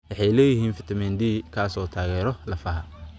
Waxay leeyihiin fitamiin D kaas oo taageera lafaha.